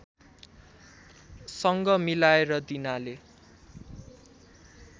सँग मिलाएर दिनाले